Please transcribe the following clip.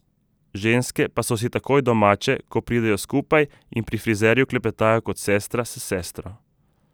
Ženske pa so si takoj domače, ko pridejo skupaj, in pri frizerju klepetajo kot sestra s sestro.